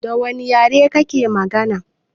Dawane yare kake magana?